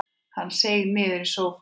Hann seig niður í sófann.